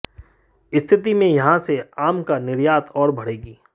स्थिति में यहां से आम का निर्यात और बढ़ेगी